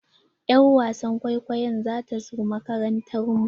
Y'ar wasan kwaikwayon za ta zo makarantar mu.